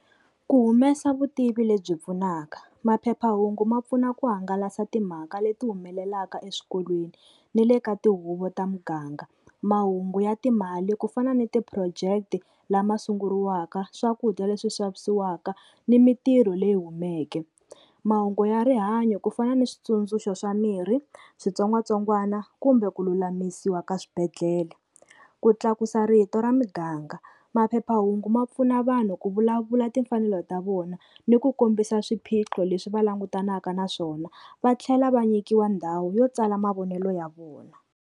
Ku humesa vutivi lebyi pfunaka. Maphephahungu ma pfuna ku hangalasa timhaka leti humelelaka eswikolweni ni le ka tihuvo ta muganga. Mahungu ya timali ku fana ni ti-project-e lama sunguriwaka, swakudya leswi xavisiwaka ni mintirho leyi humeke. Mahungu ya rihanyo ku fana ni switsundzuxo swa miri, switsongwatsongwana kumbe ku lulamisiwa ka swibedhlele. Ku tlakusa rito ra muganga, maphephahungu ma pfuna vanhu ku vulavula timfanelo ta vona ni ku kombisa swiphiqo leswi va langutanaka na swona. Va tlhela va nyikiwa ndhawu yo tsala mavonelo ya vona.